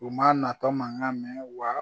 U ma natɔ mankan mɛn wa